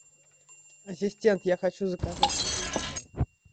ассистент я хочу заказать еду в номер